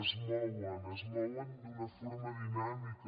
es mouen es mouen d’una forma dinàmica